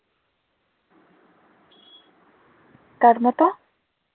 কার মত